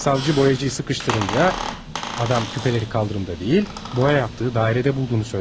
Savcı boyacıyı sıkıştırınca adam küpələri kaldırımda deyil, boya yaptığı dairede bulduğunu söylemiş.